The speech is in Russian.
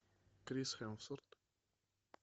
крис хемсворт